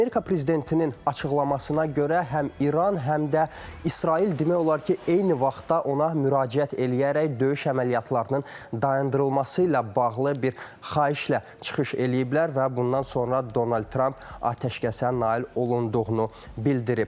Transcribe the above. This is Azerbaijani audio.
Amerika prezidentinin açıqlamasına görə həm İran, həm də İsrail demək olar ki, eyni vaxtda ona müraciət eləyərək döyüş əməliyyatlarının dayandırılması ilə bağlı bir xahişlə çıxış eləyiblər və bundan sonra Donald Tramp atəşkəsə nail olunduğunu bildirib.